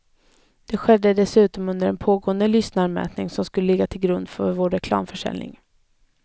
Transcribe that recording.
Det skedde dessutom under en pågående lyssnarmätning, som skulle ligga till grund för vår reklamförsäljning.